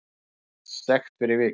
Hann fær sekt fyrir vikið